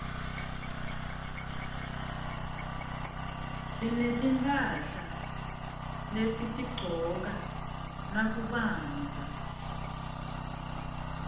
sinetimphahla lesitigcoka nakubandza